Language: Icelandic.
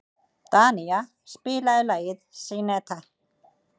Danía, spilaðu lagið „Syneta“.